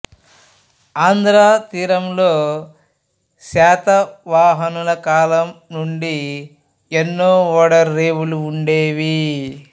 ఆంధ్ర తీరంలో శాతవాహనుల కాలం నుండి ఎన్నో ఓడ రేవులు ఉండేవి